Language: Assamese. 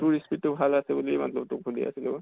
তোৰ speed টো ভাল আছে বুলি মত্লব তোক সুধি আছিলোঁ অ।